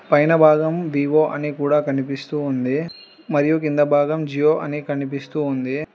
పైన భాగం వివో అని కూడా కనిపిస్తూ ఉంది మరియు కింద భాగం జియో అని కనిపిస్తూ ఉంది.